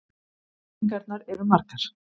Blekkingarnar eru margar.